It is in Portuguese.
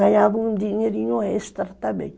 Ganhava um dinheirinho extra também.